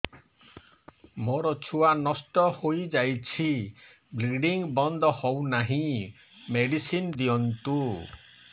ମୋର ଛୁଆ ନଷ୍ଟ ହୋଇଯାଇଛି ବ୍ଲିଡ଼ିଙ୍ଗ ବନ୍ଦ ହଉନାହିଁ ମେଡିସିନ ଦିଅନ୍ତୁ